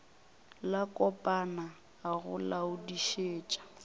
la kopana a go laodišetša